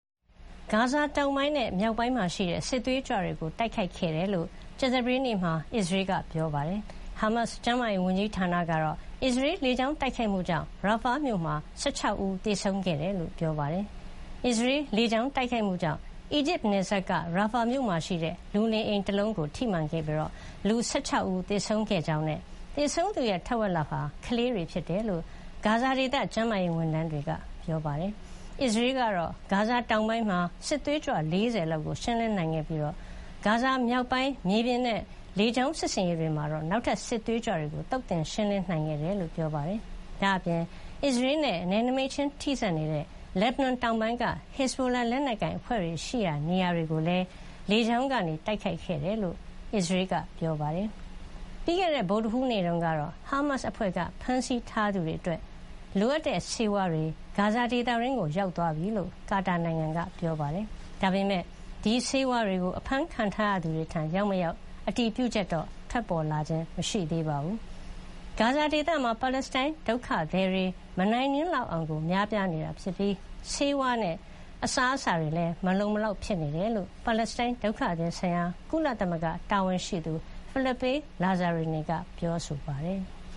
ဂါဇာတောင်ပိုင်းနဲ့မြောက်ပိုင်းမှာရှိတဲ့ စစ်သွေးကြွတွေကို တိုက်ခိုက်ခဲ့တယ်လို့ ကြာသပတေးနေ့တုန်းက အစ္စရေးကပြော ပါတယ်။ ဟာမတ်စ် ကျန်းမာရေးဝန်ကြီးဌာနကတော့ အစ္စရေးလေကြောင်း တိုက်ခိုက်မှုကြောင့် ရာဖာ Rafah မြို့မှာ ၁၆ ဦးသေဆုံးခဲ့တယ်လို့ဆိုပါတယ်။ အစ္စရေးလေကြောင်းတိုက်ခိုက်မှုကြောင့် အီဂျစ်နယ်စပ်က ရာဖာမြို့မှာရှိတဲ့ လူနေအိမ်တလုံးကိုထိမှန်ခဲ့ပြီး လူ ၁၆ ဦးသေဆုံးခဲ့ကြောင်းနဲ့ သေဆုံးသူတဝက်ဟာ ကလေးတွေဖြစ်တယ်လို့ ဂါဇာဒေသကျန်းမာရေးဝန်ထမ်းတွေက ပြောပါတယ်။ အစ္စရေးကတော့ ဂါဇာတောင်ပိုင်းမှာ စစ်သွေးကြွ ၄၀ လောက်ကို ရှင်းလင်းနိုင်ခဲ့ပြီး ဂါဇာမြောက်ပိုင်း မြေပြင်နဲ့လေကြောင်း စစ်ဆင်ရေးတွေမှာ နောက်ထပ်စစ်သွေးကြွတွေကို သုတ်သင်ရှင်းလင်းနိုင်ခဲ့တယ်လို့ဆိုပါတယ်။ ဒါ့အပြင် အစ္စရေးနဲ့နယ်နိမိတ်ခြင်းထိစပ်နေတဲ့ လက်ဘနွန်တောင်ပိုင်းက ဟစ်ဇဘိုလာ လက်နက်ကိုင်အဖွဲ့တွေရှိရာ နေရာတွေကိုလည်း လေကြောင်းကနေတိုက်ခိုက်ခဲ့တယ်လို့ အစ္စရေးကပြောပါတယ်။ ပြီးခဲ့တဲ့ဗုဒ္ဓဟူးနေ့တုန်းကတော့ ဟာမတ်စ်အဖွဲ့ကဖမ်းဆီးထားသူတွေအတွက် လိုအပ်တဲ့ဆေးဝါးတွေ ဂါဇာဒေသတွင်းကိုရောက်ရှိသွားပြီလို့ ကာတာနိုင်ငံကပြောပါတယ်။ ဒါပေမယ့် ဒီဆေးဝါးတွေကို အဖမ်းခံထားရသူတွေထံရောက်မရောက်တော့ အတည်ပြုချက်ထွက်ပေါ်လာခြင်းမရှိသေးပါတယ်။ ဂါဇာဒေသမှာ ပါလက်စတိုင်းဒုက္ခတွေ မနိုင်မနင်းလောက်အောင် များပြားနေပြီး ဆေးဝါးနဲ့စားအစားအစာတွေမလုံမလောက်ဖြစ်နေတယ်လို့ ပါလက်စတိုင်းဒုက္ခသည်ဆိုင်ရာ ကုလသမဂ္ဂတာဝန်ရှိသူ Philippe Lazzarini ကပြောဆိုထားပါတယ်။